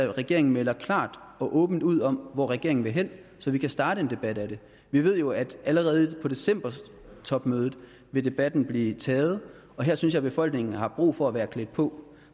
at regeringen melder klart og åbent ud om hvor regeringen vil hen så vi kan starte en debat om det vi ved jo at allerede på decembertopmødet vil debatten blive taget og her synes jeg befolkningen har brug for at være klædt på